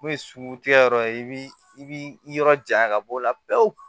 N'o ye suku tigɛ yɔrɔ ye i b'i yɔrɔ janya ka b'o la pewu